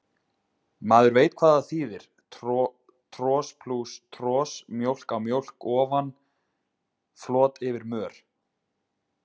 Maður veit hvað það þýðir, tros plús tros, mjólk á mjólk ofan, flot yfir mör.